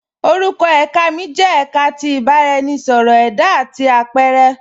Orúkọ èká mi jẹ èká tí ìbàraẹnisọ̀rọ̀ ẹda àti apẹ̀rẹ.